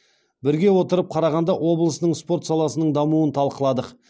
бірге отырып қарағанды облысының спорт саласының дамуын талқыладық